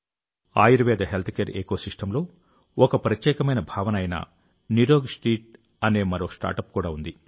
Ayurveda healthcare ఎకోసిస్టమ్లో ఒక ప్రత్యేకమైన భావన అయిన నిరోగ్స్ట్రీట్ అనే మరో స్టార్టప్ కూడా ఉంది